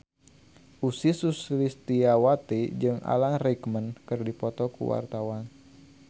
Ussy Sulistyawati jeung Alan Rickman keur dipoto ku wartawan